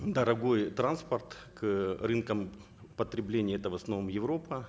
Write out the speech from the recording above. дорогой транспорт к рынкам потребления это в основном европа